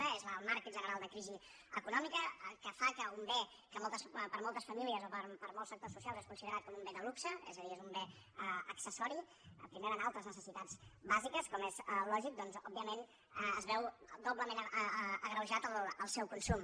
una és el marc general de crisi econòmica que fa que un bé que per moltes famílies o per molts sectors socials és considerat com un bé de luxe és a dir és un bé accessori que primer van altres necessitats bàsiques com és lògic doncs òbviament es veu doblement agreujat en el seu consum